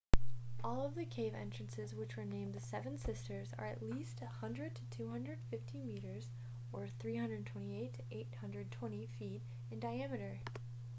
all of the cave entrances which were named the seven sisters are at least 100 to 250 meters 328 to 820 feet in diameter